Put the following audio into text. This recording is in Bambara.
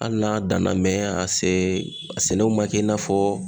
Ali n'a danna mɛ a see a sɛnɛw ma kɛ i n'a fɔ